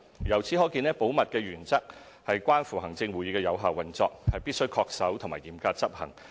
由此可見，保密原則關乎行政會議的有效運作，必須恪守和嚴格執行。